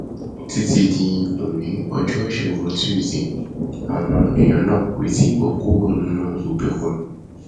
títí di oní ọjọ ìṣègùn túṣìdée àwọn èèyàn náà kò tí ì bọ kúrò nínú ìgbèkùn